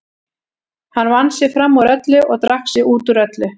Hann vann sig fram úr öllu og drakk sig út úr öllu.